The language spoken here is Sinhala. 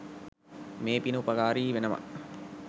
මේ පින උපකාරී වෙනවා.